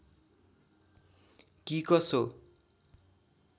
कि कसो